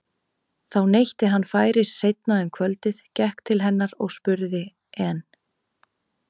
Því neytti hann færis seinna um kvöldið, gekk til hennar og spurði:- En